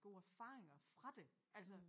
Gode erfaringer fra det altså